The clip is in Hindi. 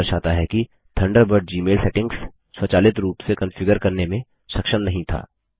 यह दर्शाता है कि थंडरबर्ड जीमेल सेटिंग्स स्वचालित रूप से कॉन्फ़िगर करने में सक्षम नहीं था